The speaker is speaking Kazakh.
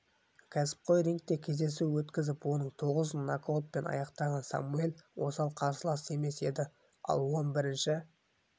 кәсіпқой рингте кездесу өткізіп оның тоғызын нокаутпен аяқтаған самуэль осал қарсылас емес еді ал он бірінші